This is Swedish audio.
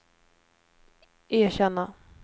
erkänna